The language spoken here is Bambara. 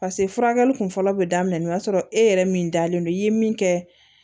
pase furakɛli kun fɔlɔ bɛ daminɛ o y'a sɔrɔ e yɛrɛ min dalen don i ye min kɛ